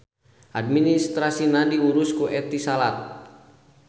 Administrasina diurus ku Etisalat.